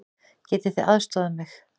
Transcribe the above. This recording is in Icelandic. Getið þið aðstoðað mig?